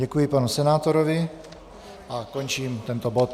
Děkuji panu senátorovi a končím tento bod.